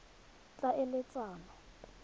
tlhaeletsano